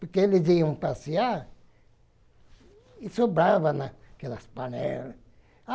Porque eles iam passear e sobrava naquelas panelas.